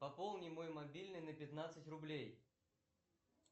пополни мой мобильный на пятнадцать рублей